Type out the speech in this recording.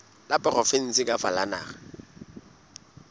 la provinse kapa la naha